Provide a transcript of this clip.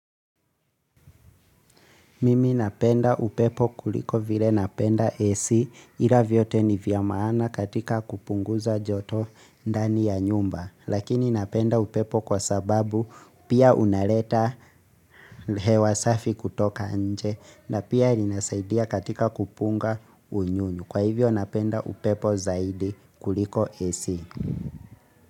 Mimi napenda upepo kuliko vile napenda AC ila vyote ni vya maana katika kupunguza joto ndani ya nyumba. Lakini napenda upepo kwa sababu pia unareta hewa safi kutoka nje na pia linasaidia katika kupunga unyunyu. Kwa hivyo napenda upepo zaidi kuliko AC.